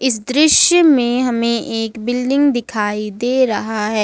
इस दृश्य में हमें एक बिल्डिंग दिखाई दे रहा है।